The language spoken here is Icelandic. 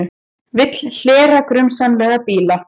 Vill hlera grunsamlega bíla